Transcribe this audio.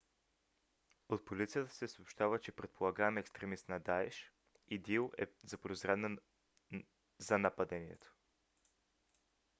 от полицията се съобщава че предполагаем екстремист на даеш идил е заподозрян за нападението